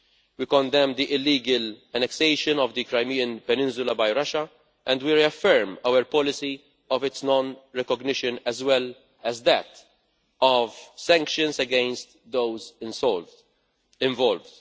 We condemn the illegal annexation of the Crimean peninsula by Russia and we reaffirm our policy of its non recognition, as well as that of sanctions against those involved.